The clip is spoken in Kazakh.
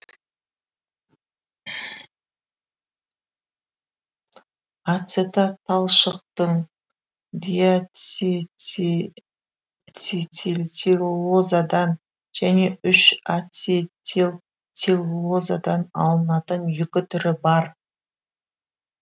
ацетат талшықтың диацетилцеллулозадан және үш ацетилцеллулозадан алынатын екі түрі бар